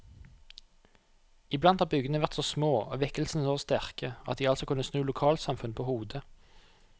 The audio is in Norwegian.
Iblant har bygdene vært så små og vekkelsene så sterke at de altså kunne snu lokalsamfunn på hodet.